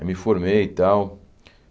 Eu me formei e tal.